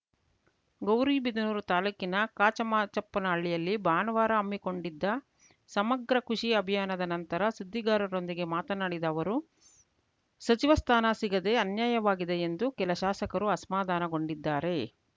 ಗೌರಿಬಿದನೂರು ತಾಲೂಕಿನ ಕಾಚಮಾಚಪ್ಪನಹಳ್ಳಿಯಲ್ಲಿ ಭಾನುವಾರ ಹಮ್ಮಿಕೊಂಡಿದ್ದ ಸಮಗ್ರ ಕೃಷಿ ಅಭಿಯಾನದ ನಂತರ ಸುದ್ದಿಗಾರರೊಂದಿಗೆ ಮಾತನಾಡಿದ ಅವರು ಸಚಿವ ಸ್ಥಾನ ಸಿಗದೆ ಅನ್ಯಾಯವಾಗಿದೆ ಎಂದು ಕೆಲ ಶಾಸಕರು ಅಸಮಾಧಾನಗೊಂಡಿದ್ದಾರೆ